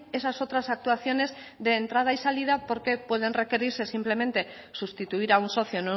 esas otras actuaciones de entrada y salida porque pueden requerirse simplemente sustituir a un socio